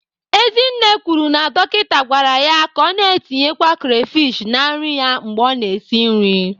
Ezinne kwuru na dọkịta gwara ya ka ọ na-etinyekwa crayfish na nri ya mgbe ọ na-esi nri.